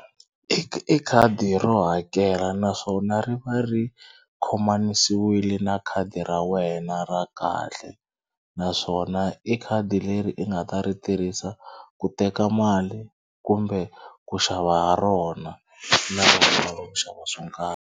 I khadi ro hakela naswona ri va ri khomanisiwe na khadi ra wena ra kahle naswona i khadi leri i nga ta ri tirhisa ku teka mali kumbe ku xava ha rona na ku xava swo karhi.